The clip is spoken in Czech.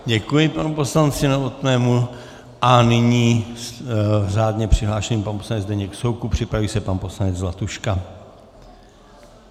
Děkuji panu poslanci Novotnému a nyní řádně přihlášený pan poslanec Zdeněk Soukup, připraví se pan poslanec Zlatuška.